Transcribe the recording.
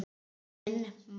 Minn maður.